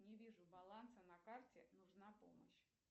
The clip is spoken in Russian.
не вижу баланса на карте нужна помощь